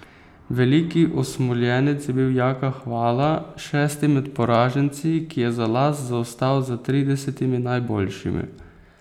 Veliki osmoljenec je bil Jaka Hvala, šesti med poraženci, ki je za las zaostal za tridesetimi najboljšimi.